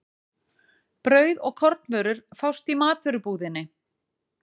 Brauð og kornvörur fást í matvörubúðinni.